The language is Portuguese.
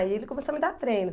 E ele começou a me dar treino.